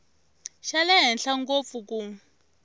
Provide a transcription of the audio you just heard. xa le henhla ngopfu ku